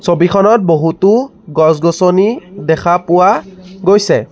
ছবিখনত বহুতো গছ-গছনি দেখা পোৱা গৈছে।